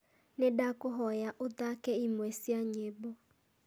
nĩ ndakũhoya ũthaake imwe cia nyĩmbo